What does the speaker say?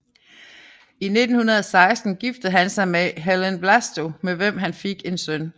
I 1916 giftede han sig med Helen Wlasto med hvem han fik en søn